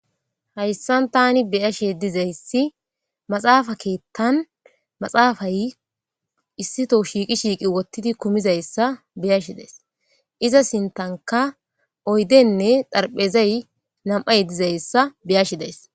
Hayssan tanni bayashe dizayssi maaxappe keththan maaxappayi issitto shiiqqidi kumizayssa beyashe dayssi iza sinttankka oyddenne xaraphphezay nam'iayi dizayssa beyashe dayssi